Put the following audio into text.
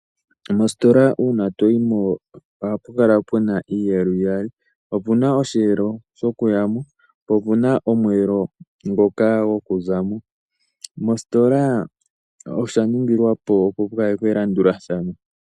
Mositola una toyimo ohapukala puna iiyelo iyali opuna oshelo shokuyamo po opuna omwelo ngoka gokuzamo , mositola oshaningilwapo opo pukalekwe elanduladhano .